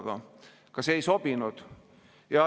Aga ka see ei sobinud.